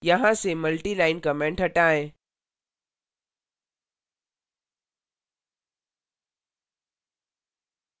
यहाँ से multi line comments हटाएं